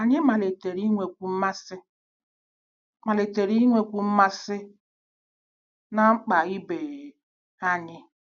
Anyị malitere inwekwu mmasị malitere inwekwu mmasị na mkpa ibe anyị.